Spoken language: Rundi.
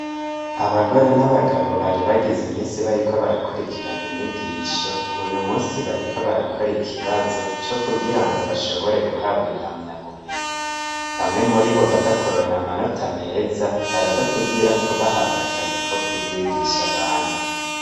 Abagore n'bagabo bari bagize imisi bariko barakurikirana inyigisho uyumusi bariko barakora ikibazo co kugira ngo bashobore guhabwa impamya bumenyi, bamwe muri bo baza kuronka amanota meza baraza kugirako bahabwa akazi ko kuvyigisha abandi.